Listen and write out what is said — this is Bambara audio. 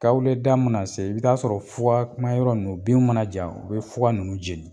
Kawule da mana se i bɛ taa sɔrɔ fugamayɔrɔ ninnu binw mana ja u be fuga ninnu jeni.